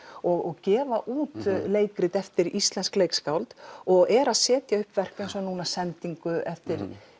og gefa út leikrit eftir íslensk leikskáld og er að setja upp verk eins og núna sendingu eftir